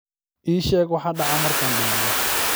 ii sheeg waxa dhaca markaan dhimanno